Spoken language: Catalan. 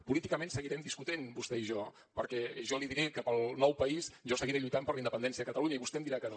políticament seguirem discutint vostè i jo perquè jo li diré que per al nou país jo seguiré lluitant per la independència de catalunya i vostè em dirà que no